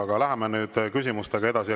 Aga läheme nüüd küsimustega edasi.